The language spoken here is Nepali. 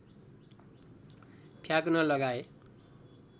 फ्याँक्न लगाए